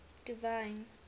divine